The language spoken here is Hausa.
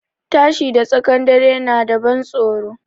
Tashi da tsakan dare na da ban tsoro